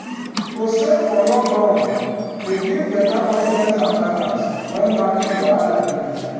to save for long run dey give better confidence and balance when market wahala dey.